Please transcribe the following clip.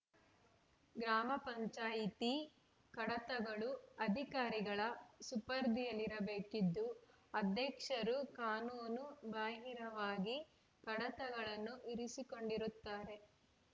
ಗ್ರಾಮ ಪಂಚಾಯತಿ ಕಡತಗಳು ಅಧಿಕಾರಿಗಳ ಸುಪರ್ದಿಯಲ್ಲಿರಬೇಕಿದ್ದು ಅಧ್ಯಕ್ಷರು ಕಾನೂನು ಬಾಹಿರವಾಗಿ ಕಡತಗಳನ್ನು ಇರಿಸಿಕೊಂಡಿರುತ್ತಾರೆ